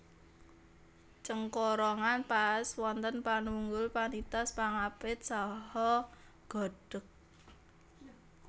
Cengkorongan paès wonten panunggul panitis pangapit saha godhég